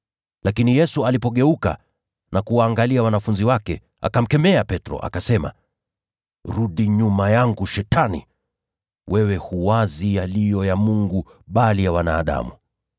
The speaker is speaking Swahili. Lakini Yesu alipogeuka na kuwaangalia wanafunzi wake, akamkemea Petro. Akasema, “Rudi nyuma yangu, Shetani! Moyo wako hauwazi yaliyo ya Mungu, bali ya wanadamu.”